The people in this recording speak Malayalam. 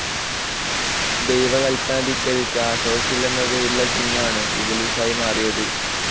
ദൈവ കൽപ്പന ധിക്കരിച്ച അസാസീൽ എന്ന് പേരുള്ള ജിന്ന്‌ ആണു ഇബ്‌ലീസ്‌ ആയി മാറിയത്‌.